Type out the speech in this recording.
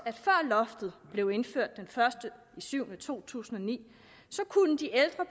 at før loftet blev indført den første juli to tusind og ni